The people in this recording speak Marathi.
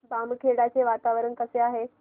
बामखेडा चे वातावरण कसे आहे